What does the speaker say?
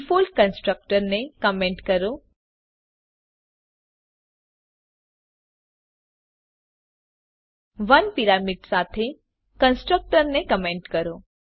default constructor ને comment કરો ૧ parameter સાથેના કન્સ્ટ્રક્ટર ને કમેંટ કરો